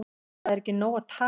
Það er ekki nóg að tala